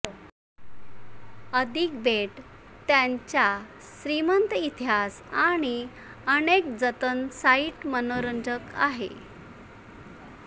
अधिक बेट त्याच्या श्रीमंत इतिहास आणि अनेक जतन साइट मनोरंजक आहे